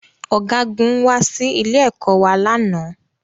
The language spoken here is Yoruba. Ọ̀gágun wá sí ilé-ẹ̀kọ́ wa lánàá